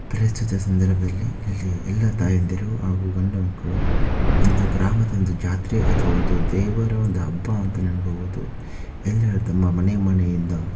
ಪ್ರಸ್ತುತ ಸಂದರ್ಭದಲ್ಲಿ ಇಲ್ಲಿ ಎಲ್ಲಾ ತಾಯಂದಿರು ಹಾಗೂ ಗಂಡು ಮಕ್ಕಳು ಒಂದು ಗ್ರಾಮದೊಂದು ಜಾತ್ರೆ ಅಥವಾ ಒಂದು ದೇವರ ಹಬ್ಬ ಅಂತನೇ ಹೇಳಬಹುದು ಎಲ್ಲರೂ ತಮ್ಮ ಮನೆ ಮನೆಯಿಂದ--